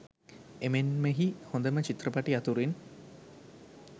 එමෙන්මහි හොඳම චිත්‍රපට අතුරින්